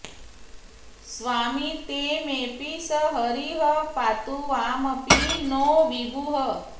स्वामी ते मेपि स हरिः पातुवामपि नौ विभुः